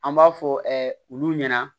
An b'a fɔ olu ɲɛna